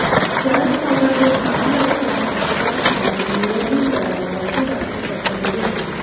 शरद पवार हे माढा लोकसभा मतदारसंघातून निवडणूक लढवणार अशी बातमी पसरली होती